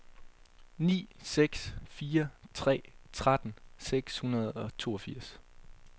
ni seks fire tre tretten seks hundrede og toogfirs